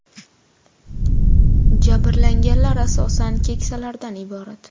Jabrlanganlar asosan keksalardan iborat.